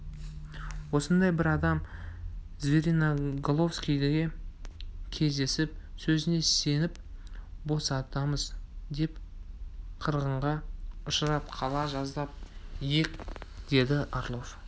осындай бір адам звериноголовскийде кездесіп сөзіне сеніп босатамыз деп қырғынға ұшырап қала жаздап ек деді орлов